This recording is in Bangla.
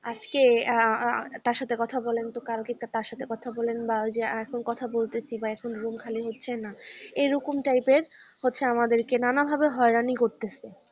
আজকে আহ তার সাথে কথা বলেন তো কালকে তার সাথে কথা বলেন বা যে এখন কথা বলতেছি বা এখন room খালি হচ্ছেনা এরকম type র হচ্ছে আমাদেরকে নানাভাবে হয়রানি করতেছে ।